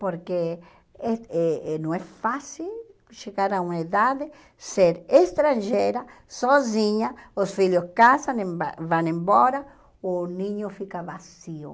Porque eh e e não é fácil chegar a uma idade, ser estrangeira, sozinha, os filhos casam, em vão embora, o ninho fica vazio.